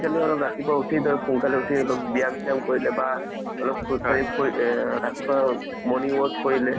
আজিকালি অলপ ৰাতিপুৱা উথি ধৰ সোনকালে উথি অলপ ব্যায়াম চিয়াম কৰিলে বা অলপ খোজ কাঢ়ি আ ৰাতিপুৱা morning walk কৰিলে